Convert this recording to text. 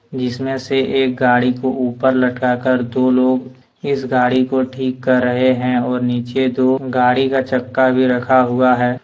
जिसमें से एक गाड़ी को ऊपर लटका कर दो लोग इस गाड़ी को ठीक कर रहे हैंऔर नीचे दो गाड़ी का चक्का भी रखा हुआ है।